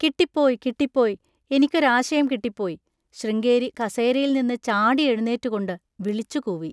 കിട്ടിപ്പോയ്, കിട്ടിപ്പോയ്, എനിക്കൊരാശയം കിട്ടിപ്പോയ്!, ശൃംഗേരി കസേരയിൽനിന്ന് ചാടിയെഴുന്നേറ്റുകൊണ്ട് വിളിച്ചുകൂവി.